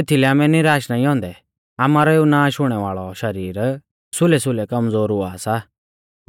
एथीलै आमै निराश नाईं औन्दै आमारौ एऊ नाश हुणै वाल़ौ शरीर सुलैसुलै कमज़ोर हुआ सा